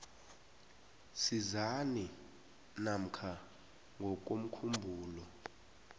sisazi namkha ngokomkhumbulo